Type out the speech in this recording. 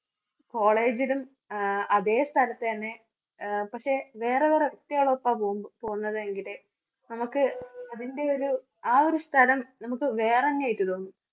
കോളേജിലും ആഹ് അതേ സ്ഥലത്തുതന്നെ ആഹ് പക്ഷേ വേറെ കുറേ കുട്ടികളുടെ ഒപ്പാ പോകു~പോകുന്നത് എങ്കില് നമുക്ക് അതിന്റെ ഒരു ആ ഒരു സ്ഥലം നമുക്ക് വേറെ തന്നെ ആയിട്ടു തോന്നും.